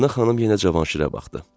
Mədinə xanım yenə Cavanşirə baxdı.